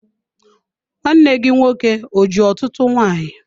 Nwanne gị nwoke o ji ọtụtụ nwanyị?